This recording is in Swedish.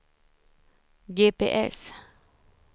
GPS